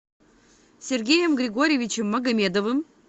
сергеем григорьевичем магомедовым